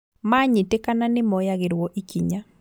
Manyitĩkana nĩmoyagĩrwo ikinya